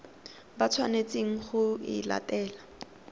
ba tshwanetseng go e latela